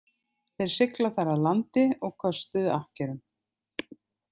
Þeir sigla þar að landi og köstuðu akkerum.